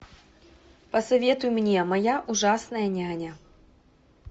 посоветуй мне моя ужасная няня